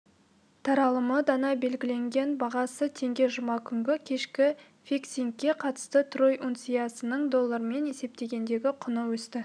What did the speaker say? таралымы дана белгіленген бағасы теңге жұма күнгі кешкі фиксингке қатысты трой унциясының доллармен есептегендегі құны өсті